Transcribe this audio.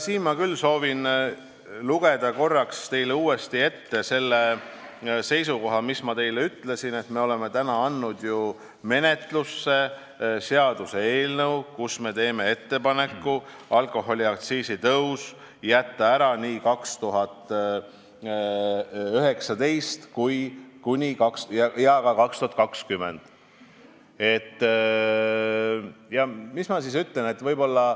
Siin ma küll soovin lugeda uuesti ette selle, mida ma teile juba ette olen lugenud, et me oleme andnud ju menetlusse seaduseelnõu, kus me teeme ettepaneku jätta alkoholiaktsiisi tõus 2019 ja ka 2020 ära.